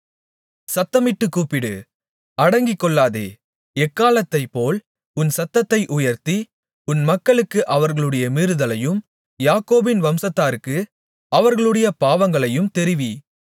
சத்தமிட்டுக் கூப்பிடு அடக்கிக்கொள்ளாதே எக்காளத்தைப்போல் உன் சத்தத்தை உயர்த்தி என் மக்களுக்கு அவர்களுடைய மீறுதலையும் யாக்கோபின் வம்சத்தாருக்கு அவர்களுடைய பாவங்களையும் தெரிவி